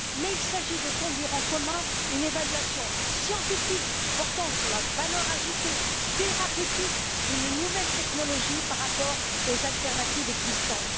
Il s'agit de conduire en commun une évaluation scientifique portant sur la valeur ajoutée thérapeutique d'une nouvelle technologie par rapport aux alternatives existantes.